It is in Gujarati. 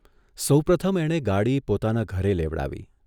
સૌપ્રથમ એણે ગાડી પોતાના ઘરે લેવડાવી.